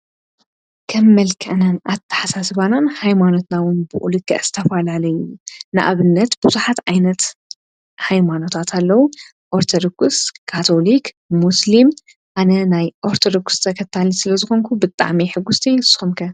ከም መልከእነን ኣተሓሳ ሰባናን ኃይማኖትናውን ብኡልክ እስተፍላለይ ንኣብነት ብዙሓት ኣይነት ኃይማኖታትለዉ ኦርተዶኩስ ካቶሊክ ሙስልም ኣነ ናይ ኦርተዶኩስተ ኸታልት ስለ ዝኾንኩ ብጥኣመይ ሕጉሥቲ ይስኾምከ።